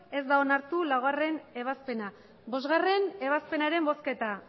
ez da onartu laugarrena ebazpena bostgarrena ebazpenaren bozketa